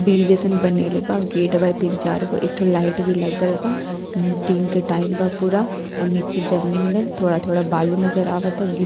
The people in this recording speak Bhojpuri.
बिल जईसन बनैले बा। गेट बा तीन चार गो एक ठो लाइट भी लगल बा। दिन के टाइम बा पूरा अर नीचे जमीन में थोड़ा-थोड़ा बालू नजर आवता। गिट --